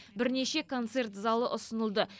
бірнеше концерт залы ұсынылды